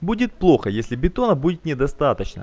будет плохо если бетона будет недостаточно